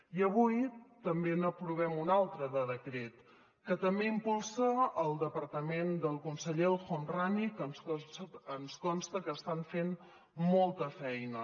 i avui també n’aprovem un altre de decret que també impulsa el departament del conseller el homrani que ens consta que estan fent molta feina